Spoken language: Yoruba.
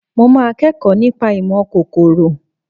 Mo máa kẹ́kọ̀ọ́ nípa ìmọ̀ kòkòrò